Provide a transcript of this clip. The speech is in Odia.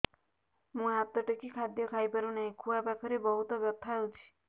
ମୁ ହାତ ଟେକି ଖାଦ୍ୟ ଖାଇପାରୁନାହିଁ ଖୁଆ ପାଖରେ ବହୁତ ବଥା ହଉଚି